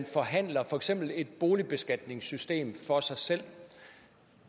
forhandler et boligbeskatningssystem for sig selv